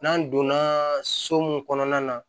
N'an donna so mun kɔnɔna na